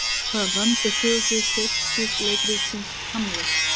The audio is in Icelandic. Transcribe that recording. Hvaða land er sögusvið Shakespeare leikritsins Hamlet?